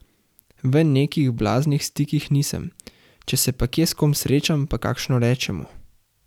V nekih blaznih stikih nisem, če se pa kje s kom srečam, pa kakšno rečemo.